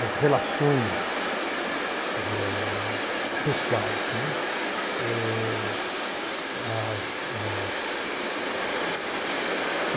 as relações eh pessoais, né. Eh as as